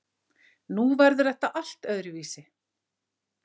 Nú verður þetta allt öðruvísi.